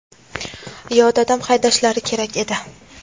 yo dadam haydashlari kerak edi.